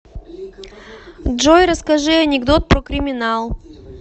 джой расскажи анекдот про криминал